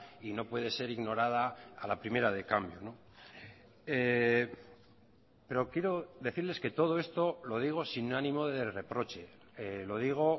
y no puede ser ignorada a la primera de cambio pero quiero decirles que todo esto lo digo sin ánimo de reproche lo digo